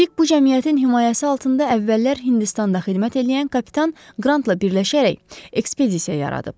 Spik bu cəmiyyətin himayəsi altında əvvəllər Hindistanda xidmət eləyən Kapitan Qrantla birləşərək ekspedisiya yaradıb.